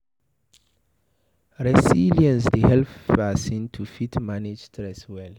Resilience dey help person to fit manage stress well